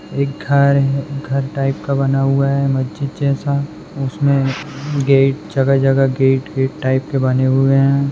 एक घर घर टाइप का बना हुआ है मस्जिद जैसा उसमे गेट जगह जगह गेट गेट टाइप के बने हुए है।